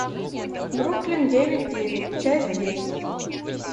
бруклин девять девять часть десять